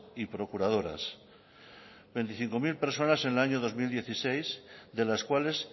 y procuradoras veinticinco mil personas en el año dos mil dieciséis de las cuales